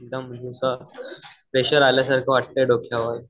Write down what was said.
एकदम असं प्रेशर आल्या सारखं वाटतंय डोक्यावर.